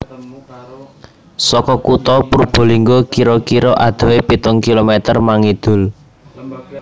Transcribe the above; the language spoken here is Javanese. Saka Kutha Purbalingga kira kira adohé pitung kilometer mangidul